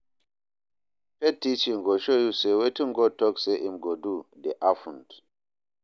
Faith teachings go show yu say wetin God talk say im go do dey happened.